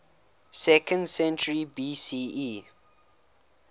second century bce